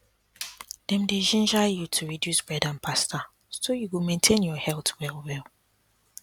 dem dey ginger you to reduce bread and pasta so you go maintain your health well